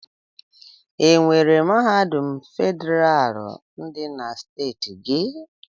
Enwere mahadum federalụ dị na steeti gị?